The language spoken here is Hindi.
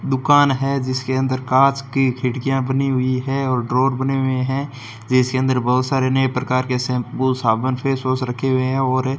दुकान है जिसके अंदर कांच की खिड़कियां बनी हुई है और ड्रॉर बने हुए हैं जिसके अंदर बहुत सारे नए प्रकार के शैंपू साबुन फेस वॉश रखे हुए हैं और --